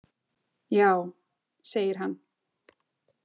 Já, segir hann.